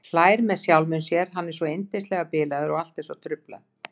Hlær með sjálfum sér, hann er svo yndislega bilaður og allt er svo truflað.